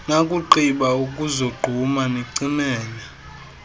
nakugqiba ukuzogquma nicimele